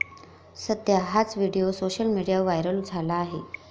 सध्या हाच video social मीडियावर व्हायरल झाला आहे.